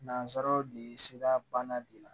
Nansaraw de ye sira banna de la